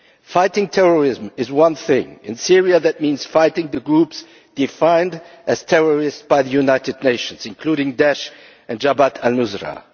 Fighting terrorism is one thing and in Syria that means fighting the groups defined as terrorists by the United Nations, including Daesh and Jabhat al Nusra.